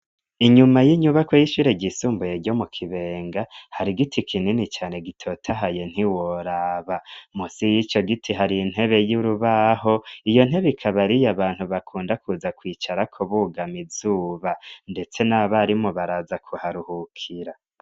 Inyuma y'inyubako y'ishire ryisumbuye ryo mu kibenga hari giti kinini cane gitotahaye ntiworaba musi y'ico giti hari intebe y'urubaho iyo ntebe ikaba ariye abantu bakunda kuza kwicara kubugama izuba ndetse n'abarimo baraza kuharuhukira.